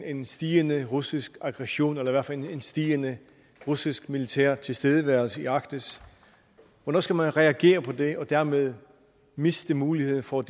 en stigende russisk aggression eller fald en stigende russisk militær tilstedeværelse i arktis hvornår skal man reagere på det og dermed miste muligheden for